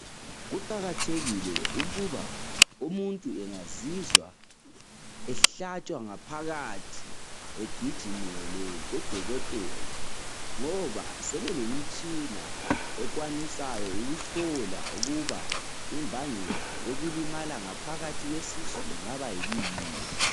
Kuqakathekile ukuba umuntu engazizwa ehlatshwa ngaphakathi egijimele kudokotela ngoba sebelemitshina ekwanisayo ukuhlola ukuba imbangela yokulimala ngaphakathi kwesisu ingaba yikuyini.